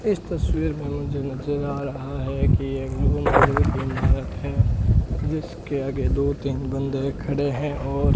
इस तस्वीर में मुझे नजर आ रहा है कि एक दो मंजिल की इमारत है जिसके आगे दो तीन बंदे खड़े हैं और --